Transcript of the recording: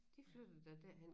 De flyttede da derhen